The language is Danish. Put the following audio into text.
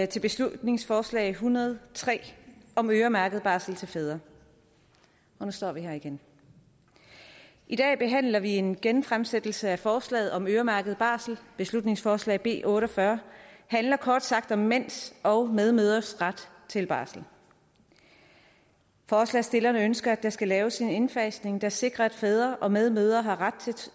til beslutningsforslag en hundrede og tre om øremærket barsel til fædre og nu står vi her igen i dag behandler vi en genfremsættelse af forslaget om øremærket barsel beslutningsforslag nummer b otte og fyrre handler kort sagt om mænds og medmødres ret til barsel forslagsstillerne ønsker at der skal laves en indfasning der sikrer at fædre og medmødre har ret til